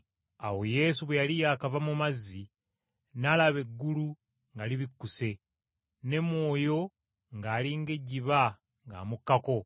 Awo Yesu bwe yali yaakava mu mazzi, n’alaba eggulu nga libikkuse, ne Mwoyo ng’ali ng’ejjiba ng’amukkako.